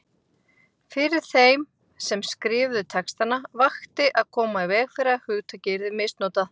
Fyrir þeim sem skrifuðu textana vakti að koma í veg fyrir að hugtakið yrði misnotað.